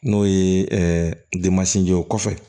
N'o ye jɔ ye o kɔfɛ